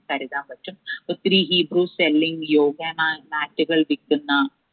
കരുതാൻ പറ്റും ഒത്തിരി yoga mat ഉകൾ വിക്കുന്ന